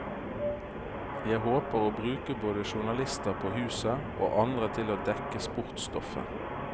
Jeg håper å bruke både journalister på huset, og andre til å dekke sportsstoffet.